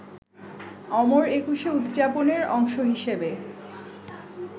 অমর একুশে উদযাপনের অংশ হিসেবে